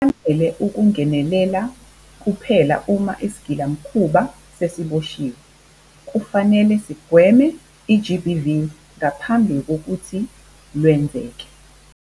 Akwanele ukungenelela kuphela uma isigilamkhuba sesiboshiwe. Kufanele siyigweme i-GBV ngaphambi kokuthi lwenzeke.